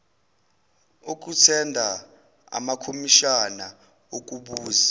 okuthenda amakomishana okubuza